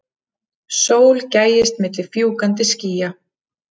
Sól gægist milli fjúkandi skýja.